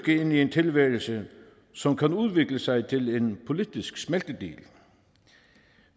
ind i en tilværelse som kan udvikle sig til en politisk smeltedigel